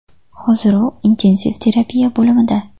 Hozir u intensiv terapiya bo‘limida.